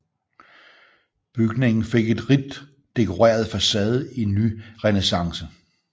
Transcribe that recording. Bygningen fik en rigt dekoreret facade i nyrenæssance